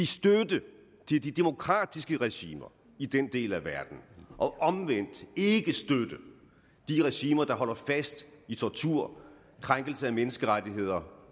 støtte til de de demokratiske regimer i den del af verden og omvendt ikke støtte de regimer der holder fast i tortur krænkelse af menneskerettigheder